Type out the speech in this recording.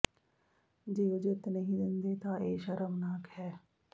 ਜੇ ਉਹ ਜਿੱਤ ਨਹੀਂ ਦਿੰਦੇ ਤਾਂ ਇਹ ਸ਼ਰਮਨਾਕ ਹੈ